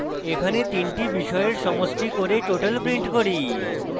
এখানে তিনটি বিষয়ের সমষ্টি করে total prints করি